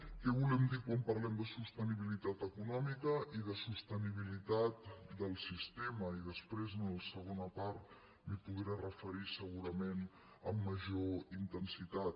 què volem dir quan parlem de sostenibilitat econòmica i de sostenibilitat del sistema i després en la segona part m’hi podré referir segurament amb major intensitat